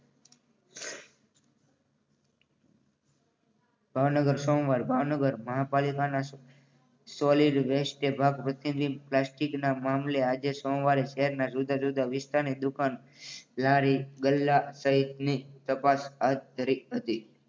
ભાવનગર સોમવાર ભાવનગર મહાનગરપાલિકાના solid waste ભાગ ભજવી પ્લાસ્ટિકના મામલે આજે સોમવારે શહેરના જુદા જુદા વિસ્તારની દુકાન લારી ગલ્લા સહિતની તપાસ હાથ ધરી હતી